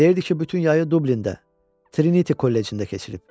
Deyirdi ki, bütün yayı Dublində, Trinity Kollecində keçirib.